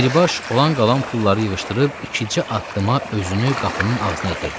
Dribaş olan-qalan pulları yığışdırıb ikicə addıma özünü qapının ağzına yetirdi.